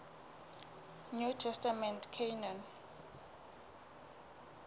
new testament canon